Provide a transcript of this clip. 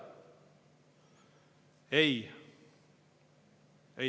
Ei!